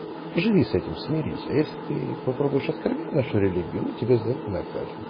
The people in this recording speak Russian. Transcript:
живи с этим смирись а если ты попробуешь оскорбить нашу религию мы тебя за это накажем